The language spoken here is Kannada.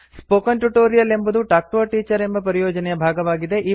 ಸ್ಪೋಕನ್ ಟ್ಯೂಟೋರಿಯಲ್ ಎಂಬುದು ಟಾಲ್ಕ್ ಟಿಒ a ಟೀಚರ್ ಎಂಬ ಪರಿಯೋಜನೆಯ ಭಾಗವಾಗಿದೆ